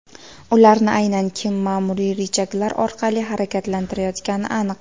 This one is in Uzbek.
Ularni aynan kim ma’muriy richaglar orqali harakatlantirayotgani aniq.